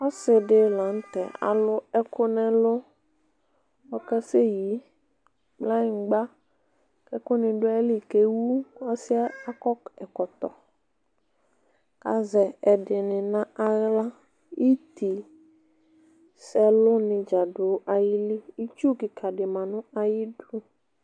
ɔsidi lanu tɛ alʋ ɛkʋ nʋ ɛlʋɔkasɛyi kplanyigbaɛku ni du iyili ku ɛwuɔsiyɛ akɔ ɛkɔtɔku azɛ ɛdini nu aɣlaitiisɛlʋ nidza du ayiliitsu kika di ma nu ayiʋ idu